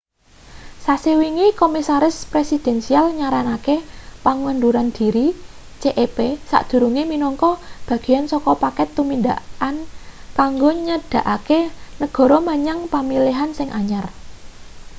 sasi wingi komisi presidensial nyaranake pengunduran diri cep sakdurunge minangka bagean saka paket tumindakan kanggo nyedhakake negara menyang pemilihan sing anyar